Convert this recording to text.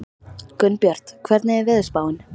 Gunnbjört, hvernig er veðurspáin?